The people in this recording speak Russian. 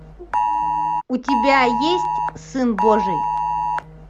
у тебя есть сын божий